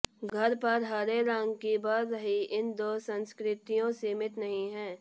घर पर हरे रंग की बढ़ रही इन दो संस्कृतियों सीमित नहीं है